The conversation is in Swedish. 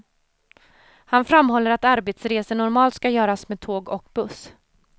Han framhåller att arbetsresor normalt ska göras med tåg och buss.